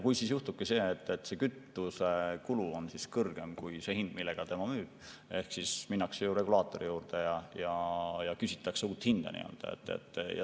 Kui siis juhtubki see, et kütusekulu on kõrgem kui see hind, millega ettevõte müüb, siis ehk minnakse regulaatori juurde ja küsitakse uut hinda.